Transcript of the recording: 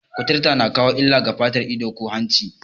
Kuturci na kawo illa ga fata, ido, ko hanci